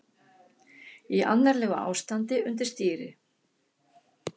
Í annarlegu ástandi undir stýri